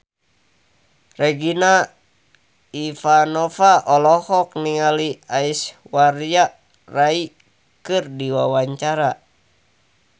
Regina Ivanova olohok ningali Aishwarya Rai keur diwawancara